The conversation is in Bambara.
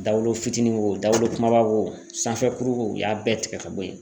Dawolo fitiinin wo dawolokuba wo kumaba wo sanfɛ kuru wo u y'a bɛɛ tigɛ ka bɔ yen